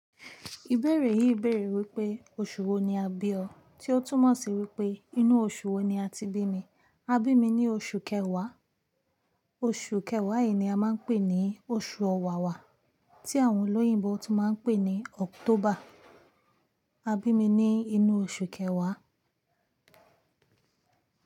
Ìbéèrè yìí béèrè wípé oṣù wo ni a bí ọ? Tí ó túmọ̀ sí wípé inú oṣù wo ni a ti bí mi? A bí mi ní oṣù kẹwàá. Oṣù kẹwàá yìí ni a máa ń pè ní oṣù Ọ̀wàwà tí àwọn olóyìnbo tún máa ń pè ní October. Abí mi ní inú oṣù kẹwàá.